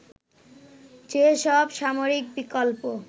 যেসব সামরিক বিকল্প